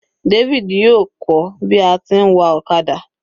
David yóò kọ́ bi a ti ń wa ọ̀kadà.